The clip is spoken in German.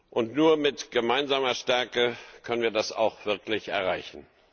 Und nur mit gemeinsamer Stärke können wir das auch wirklich erreichen.